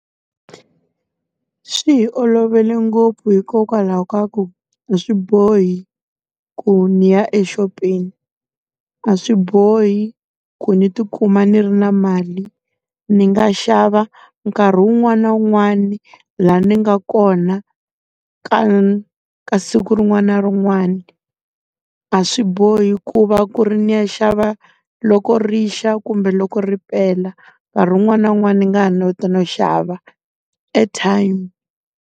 Swi hi olovele ngopfu hikokwalaho ka ku, a swi bohi ku ndzi ya exopeni, a swi bohi ku ndzi ti kuma ndzi ri na mali. Ndzi nga xava nkarhi wun'wani na wun'wani laha ndzi nga kona ka kasi siku rin'wana na rin'wana. A swi bohi ku va ku ri ndzi ya xava loko ri xa kumbe loko ri pela, nkarhi wun'wana na wun'wana ndzi nga ha no xava airtime.